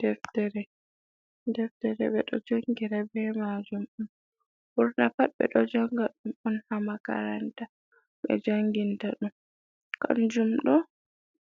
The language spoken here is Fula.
Deftere: Deftere be do jangira be majum. Ɓurna pat ɓe ɗo janga ɗum on ha makaranta be janginta ɗum. Kanjum ɗo,